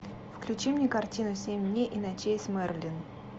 включи мне картину семь дней и ночей с мэрилин